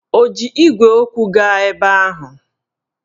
Ọ ji igwe okwu gaa ebe ahụ?